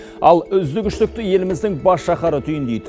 ал үздік үштікті еліміздің бас шаһары түйіндейді